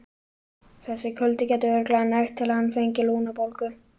Þessi kuldi gæti örugglega nægt til að hann fengi lungnabólgu.